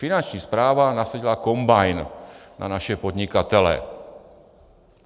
Finanční správa nasadila kombajn na naše podnikatele.